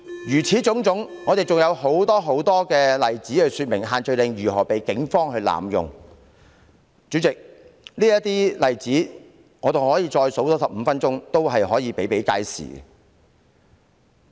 如此種種，還有很多例子可說明限聚令如何遭到警方濫用，主席，我可以多說15分鐘，例子仍然比比皆是。